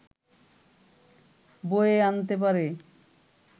বয়ে আনতে পারে!